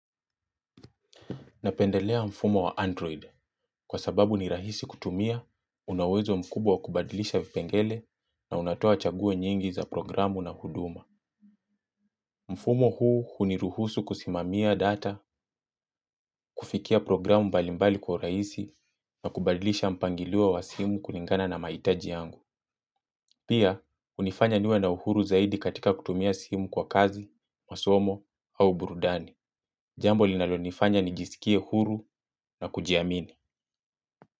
Napendelea mfumo wa Android kwa sababu ni rahisi kutumia, unauwezo mkubwa kubadilisha vipengele na unatoa chaguo nyingi za programu na huduma. Mfumo huu huniruhusu kusimamia data, kufikia programu mbalimbali kwa urahisi na kubadilisha mpangiliwa wa simu kulingana na mahitaji yangu. Pia, hunifanya niwe na uhuru zaidi katika kutumia simu kwa kazi, masomo au burudani. Jambo linalonifanya ni jisikie huru na kujiamini.